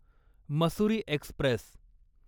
Mussoorie Express